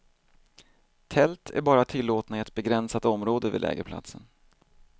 Tält är bara tillåtna i ett begränsat område vid lägerplatsen.